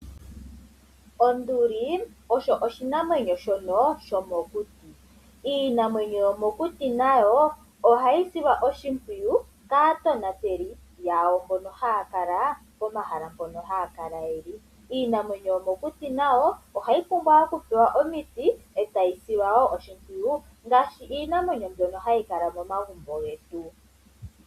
Onduli osho oshinamwenyo shomokuti. Iinamwenyo yomokuti nayo oha yi silwa oshimpwiyu kaatonateli yawo mbono ha ya kala pomahala mpono yi li. Iinamwenyo yomokuti nayo oha yi pumbwa okusilwa oshimpwiyu ngaashi iinamwenyo mbyono ha yi kala momagumbo getu.